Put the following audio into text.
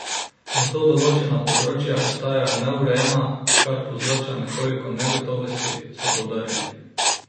Zato določena področja ostajajo neurejena, kar povzroča nekoliko negotovosti, so poudarili.